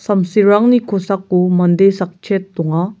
samsirangni kosako mande sakchet donga.